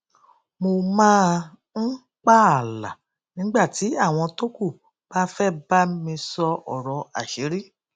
mo máa ń pààlà nígbà tí àwọn tókù bá fẹ bá mi sọ ọrọ àṣírí